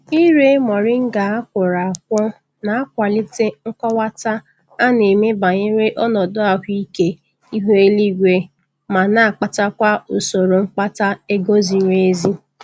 Ire moringa a kwọrọ akwọ na-akwalite nkọwata a na-eme banyere ọnọdu ahụ ike ihu eluigwe ma na-akpatakwa usoro mkpata ego ziri ezi.